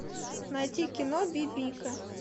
найти кино бибика